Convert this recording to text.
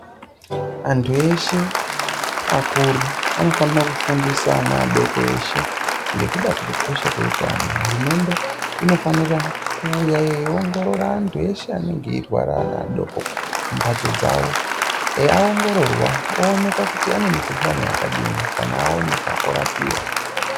Antu eshe akuru anofanira kufundisa ana adoko eshe ngekuda kwekukosha kweutano hurumende inofanira kuuya yeiongorora antu ese anenge eirwara ana adoko mumbatso dzawo aongororwa oonekwa kuti ane mukuhlani yakadini kana aoneka orapiwa .